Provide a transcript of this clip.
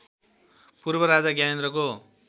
पूर्व राजा ज्ञानेन्द्रको